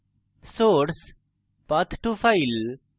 source path _ to _ file